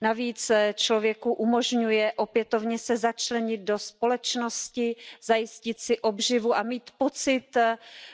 Navíc člověku umožňuje opětovně se začlenit do společnosti, zajistit si obživu a mít pocit